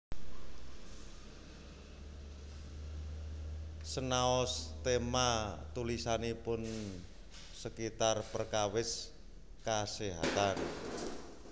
Senaos téma tulisanipun sekitar perkawis kaséhatan